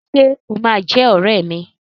Ṣé o máa jẹ́ ọrẹ́ mi?